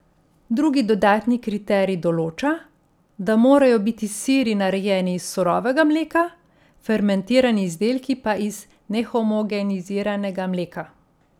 Drugi dodatni kriterij določa, da morajo biti siri narejeni iz surovega mleka, fermentirani izdelki pa iz nehomogeniziranega mleka.